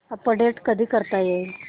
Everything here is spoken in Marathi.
अपडेट कधी करता येईल